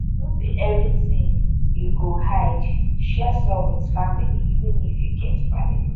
no be everything you go hide share some with family even if you get private